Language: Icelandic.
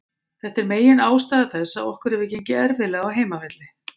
Þetta er megin ástæða þess að okkur hefur gengið erfiðlega á heimavelli.